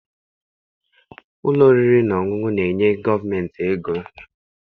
Ụlọ oriri na ọṅụṅụ na-enye gọọmentị ego.